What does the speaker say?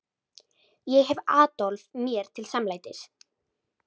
Ég hef Adolf mér til samlætis.